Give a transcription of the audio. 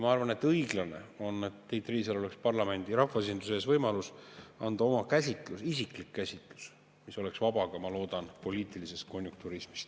Ma arvan, et õiglane oleks, kui Tiit Riisalol oleks rahvaesinduse ees võimalus anda oma isiklik käsitlus, mis oleks vaba – ma loodan – ka poliitilisest konjunkturismist.